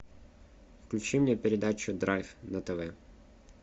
включи мне передачу драйв на тв